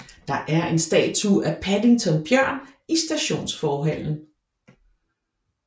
Der er en statue af Paddington Bjørn i stationsforhallen